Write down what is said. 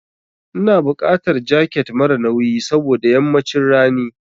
Ina buƙatar jaket mara nauyi saboda yammacin rani.